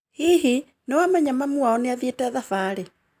Hihi, nĩwamenya mami wa o nĩathiĩte thabarĩ.